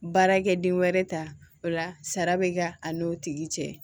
Baarakɛ den wɛrɛ ta ola sara bɛ kɛ a n'o tigi cɛ